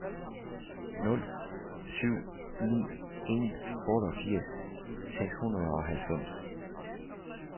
nul syv ni en otteogfirs seks hundrede og halvfems